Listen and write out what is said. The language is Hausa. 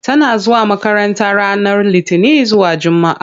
Tana zuwa makranta ranar Litini zuwa Jumaa.